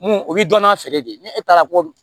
Mun o bɛ dɔn n'a feere de ni e taara ko